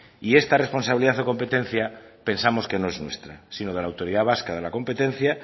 y esta responsabilidad o competencia pensamos que no es nuestra sino de la autoridad vasca de la competencia